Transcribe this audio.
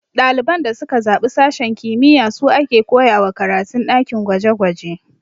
Ɗaliban da suka zaɓi sashen kimiyya su a ke koyawa karatun ɗakin gwaje gwaje